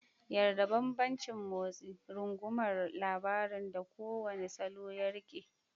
Yarda da bambancin motsi, rungumar labarin da kowane salo ya riƙe.